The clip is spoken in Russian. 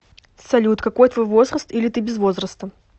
салют какой твой возраст или ты без возраста